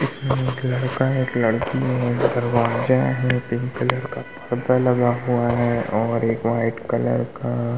इसमें एक लड़का है। एक लकड़ी है। एक दरवाजा है पिंक कलर का। पर्दा लगा हुआ है और एक वाइट कलर का --